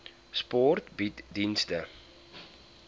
sport bied dienste